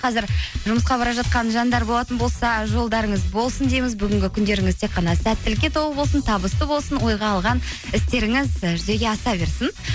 қазір жұмысқа бара жатқан жандар болатын болса жолдарыңыз болсын дейміз бүгінгі күндеріңіз тек қана сәттілікке толы болсын табысты болсын ойға алған істеріңіз і жүзеге аса берсін